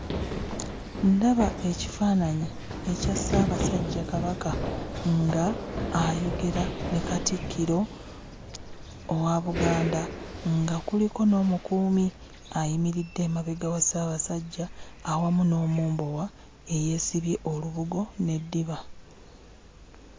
Ndaba ekifaananyi ekya Ssaabasajja Kabaka ng'ayogera ne Katikkiro owa Buganda, nga kuliko n'omukuumi ayimiridde emabega wa Ssaabasajja awamu n'omumbowa eyeesibye olubugo n'eddiba.